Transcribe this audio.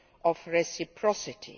of reciprocity.